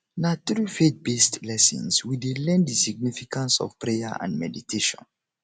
na through faithbased lessons we dey learn the significance of prayer and meditation